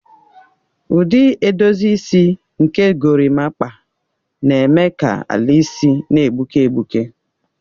Ụdị edozi isi nke gorimakpa na-eme ka ala isi na-egbuke egbuke.